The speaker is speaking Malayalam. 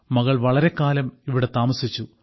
മകൾ വളരെക്കാലം ഇവിടെ താമസിച്ചു